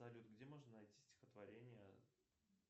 салют где можно найти стихотворение